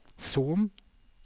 Son